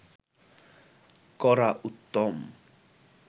করা উত্তম